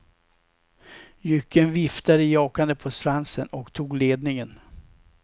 Jycken viftade jakande på svansen och tog ledningen.